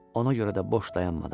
Ona görə də boş dayanmadım.